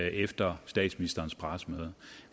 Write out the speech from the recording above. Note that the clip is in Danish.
efter statsministerens pressemøde